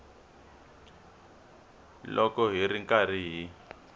loko hi ri karhi hi